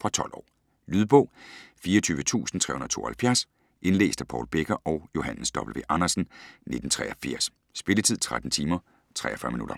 Fra 12 år. Lydbog 24372 Indlæst af Paul Becker og Johannes W. Andersen, 1983. Spilletid: 13 timer, 43 minutter.